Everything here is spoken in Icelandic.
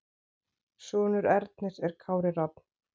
Sonur Ernis er Kári Rafn.